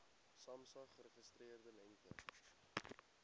samsa geregistreerde lengte